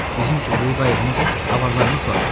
Bizim ki, böyük qayıqımız, avararımız var.